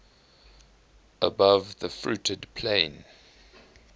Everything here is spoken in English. above the fruited plain